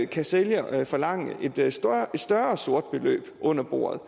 kan sælger forlange et større beløb under bordet